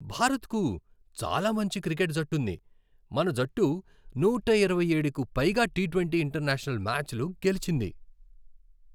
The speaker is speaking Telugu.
భారత్కు చాలా మంచి క్రికెట్ జట్టుంది. మన జట్టు నూట ఇరవయ్యేడుకు పైగా టీ ట్వంటీ ఇంటర్నేషనల్ మ్యాచ్లు గెలిచింది.